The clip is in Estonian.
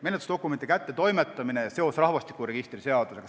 Menetlusdokumendi kättetoimetamine ja seos rahvastikuregistri seadusega.